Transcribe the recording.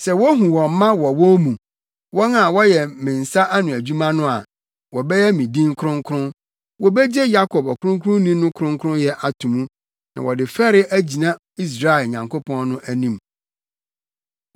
Sɛ wohu wɔn mma wɔ wɔn mu, wɔn a wɔyɛ me nsa ano adwuma no a wɔbɛyɛ me din no kronkron; wobegye Yakob ɔkronkronni no kronkronyɛ ato mu, na wɔde fɛre agyina Israel Nyankopɔn no anim.